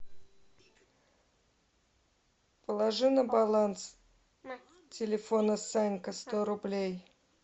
положи на баланс телефона санька сто рублей